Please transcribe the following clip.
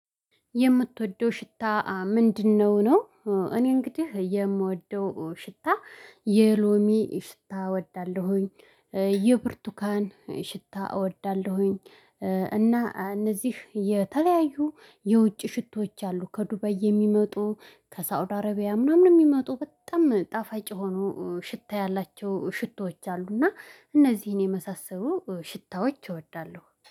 የምትወደው ሽታ ምንድነው ነው? እኔ እንግዲህ የምወደው ሽታ የሎሚ ሽታ እወዳለሁኝ። የብርቱካን ሽታ እወዳለሁኝ። እና እነዚህ የተለያዩ የውጭ ሽቶዎች አሉ ከዱባይ የሚመጡ ከሳውዲ አረቢያ ምናምን የሚመጡ በጣም ጣፋጭ የሆኑ ሽታ ያላቸው ሽቶዎች አሉ። እና እነዚህን የመሳሰሉ ሽታዎች እወዳለሁ